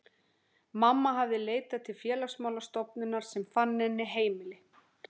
Mamma hafði leitað til Félagsmála stofnunar sem fann henni heimili.